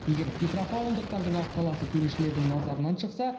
егер петропавлдықтардың аққаласы төрешілердің назарынан шықса